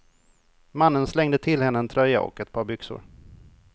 Mannen slängde till henne en tröja och ett par byxor.